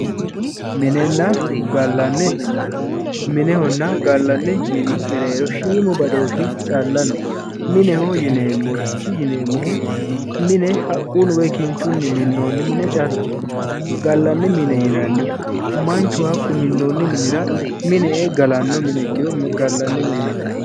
Minenna gallanni mine minehona gallanni mini mereero shiimu badooshi calla no, mineho yinneemohu mine haqquni woy kinchuni minooni mine callaho, gallanni mine yinanihu manchu hakku minoonni minira mine gallannoha ikiro gallanni mine yinnani